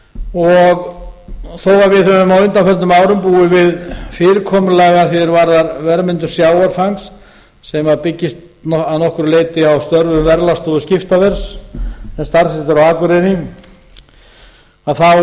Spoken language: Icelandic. er þó við höfum á undanförnum árum búið við fyrirkomulag að því er varðar verðmyndun sjávarfangs sem byggist að nokkru leyti á störfum verðlagsstofu skiptaverðs sem staðsett er á